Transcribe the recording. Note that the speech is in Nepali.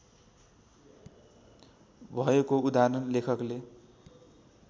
भएको उदाहरण लेखकले